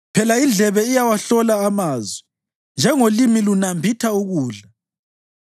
Phela indlebe iyawahlola amazwi njengolimi lunambitha ukudla.